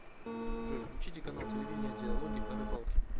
джой включите канал телевидения диалоги о рыбалке